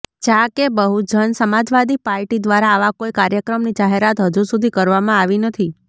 જા કે બહુજન સમાજવાદી પાર્ટી દ્વારા આવા કોઇ કાર્યક્રમની જાહેરાત હજુ સુધી કરવામાં આવી નથી